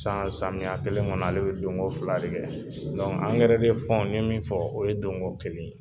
Dan samiya kelen kɔnɔ ale bi den ko fila de kɛ . fɔ n ye min fɔ o ye don ko kelen ye.